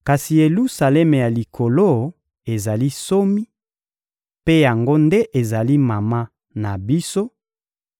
Kasi Yelusalemi ya Likolo ezali nsomi, mpe yango nde ezali mama na biso;